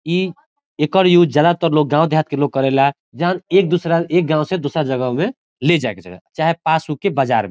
इ एकर यूज़ ज्यादातर लोग गांव देहात के लोग करेला जहाँ एक दूसरा एक गांव से दूसरा जगह में ले जाय के जगह चाहे पास होखे बजार में।